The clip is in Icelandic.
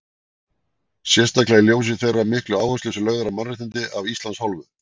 Sérstaklega í ljósi þeirra miklu áherslu sem að lögð er á mannréttindi af Íslands hálfu?